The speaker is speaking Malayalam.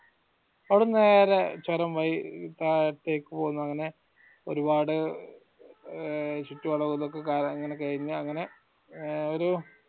അവ്ടെന്ന് നേരെ ചൊരം വഴി താഴത്തേക്ക് പൊന്നു അങ്ങനെ ഒരുപാട് ഏർ ചുറ്റുവളവൊക്കെ കഴിഞ് അങ്ങനെ ഏർ ഒരു